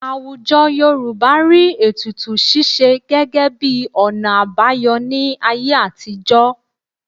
Àwùjọ Yorùbá rí ètùtù ṣíṣe gẹ́gẹ́ bí ọ̀nà àbáyọ ní ayé àtijọ́